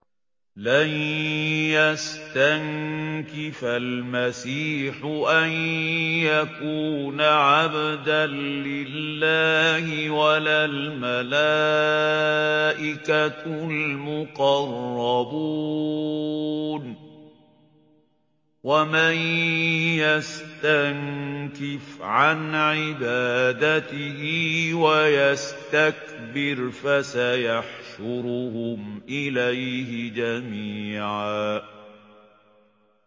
لَّن يَسْتَنكِفَ الْمَسِيحُ أَن يَكُونَ عَبْدًا لِّلَّهِ وَلَا الْمَلَائِكَةُ الْمُقَرَّبُونَ ۚ وَمَن يَسْتَنكِفْ عَنْ عِبَادَتِهِ وَيَسْتَكْبِرْ فَسَيَحْشُرُهُمْ إِلَيْهِ جَمِيعًا